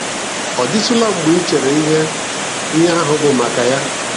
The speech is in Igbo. Ọ dịtụla mgbe i cheere ihe ihe ahụ bụ maka ya?